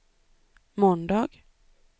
måndag